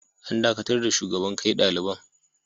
An dakatar da shugaban kai daliban.